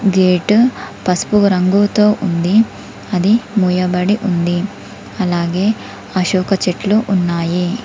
Gate పసుపు రంగుతో ఉంది అది ముయ్యాబడి ఉంది అలాగే అశోక చెట్లు ఉన్నాయి.